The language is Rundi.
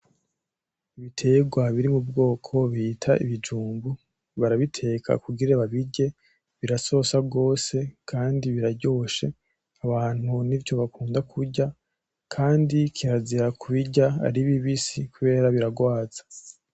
Ibiterwa biri m'ubwoko bita ibijumbu, barabiteka kugira babirye birasosa gose kandi biraryoshe, abantu nivyo bakunda kurya. Kandi kirazira kubirya ari bibisi kubera birarwaza.